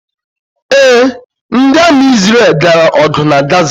Ee, ndi Ami Isreal gara ogu na Gaza